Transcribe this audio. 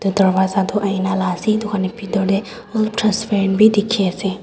dworja tuh aina la ase etu khan la bethor dae alop transperent bhi dekhe ase.